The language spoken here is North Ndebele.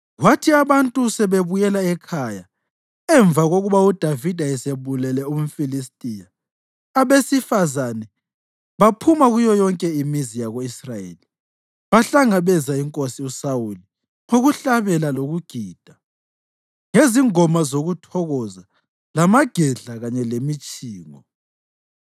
Kwathi abantu sebebuyela ekhaya emva kokuba uDavida esebulele umFilistiya, abesifazane baphuma kuyo yonke imizi yako-Israyeli bahlangabeza inkosi uSawuli ngokuhlabela lokugida, ngezingoma zokuthokoza lamagedla kanye lemitshingo.